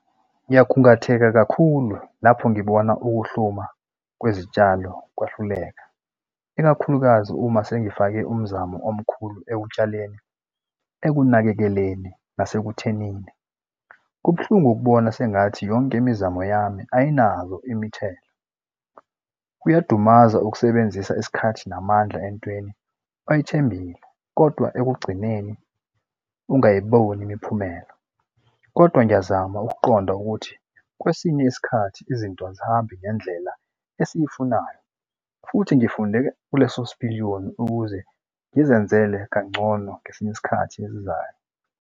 Ngiyakhungatheka kakhulu lapho ngibona ukuhluma kwezitshalo kwahluleka, ikakhulukazi uma sengifake umzamo omkhulu ekutshaleni, ekunakekeleni, nasekuthenini kubuhlungu ukubona sengathi yonke imizamo yami ayinazo imithelo. Kuyadumaza ukusebenzisa isikhathi namandla entweni oyithembile, kodwa ekugcineni ungayiboni imiphumela, kodwa ngiyazama ukuqonda ukuthi kwesinye isikhathi izinto azihambi ngendlela esiyifunayo futhi ngifunde kuleso sipiliyoni ukuze ngizenzele kangcono ngesinye isikhathi esizayo.